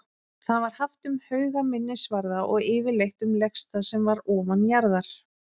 Það var haft um hauga, minnisvarða og yfirleitt um legstað sem var ofanjarðar.